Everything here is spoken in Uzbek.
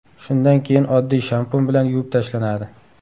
Shundan keyin oddiy shampun bilan yuvib tashlanadi.